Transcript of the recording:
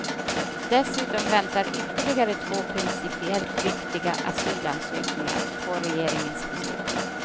Dessutom väntar ytterligare två principiellt viktiga asylansökningar på regeringens beslut.